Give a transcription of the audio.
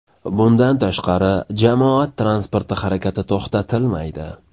Bundan tashqari, jamoat transporti harakati to‘xtatilmaydi.